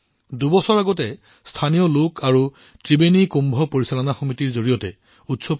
দুবছৰ আগতে উৎসৱটো স্থানীয় লোকসকলে পুনৰ আৰম্ভ কৰিছে আৰু ত্ৰিবেণী কুম্ভ পৰিচালনা সমিতিৰ জৰিয়তে